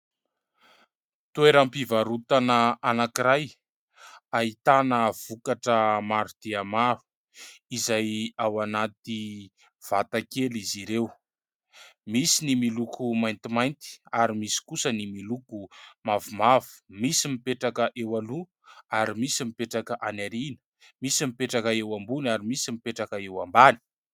Toeram-pivarotana anankiray, ahitana vokatra maro dia maro izay ao anaty vata kely izy ireo. Misy ny miloko maintimainty ary misy kosa ny miloko mavomavo. Misy mipetraka eo aloha ary misy mipetraka any aoriana ; misy mipetraka eo ambony ary misy mipetraka eo ambany.